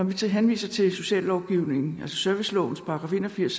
vi så henviser til sociallovgivningen servicelovens § en og firs